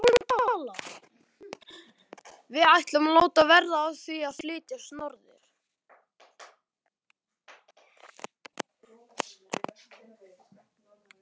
Við ætlum að láta verða af því að flytjast norður.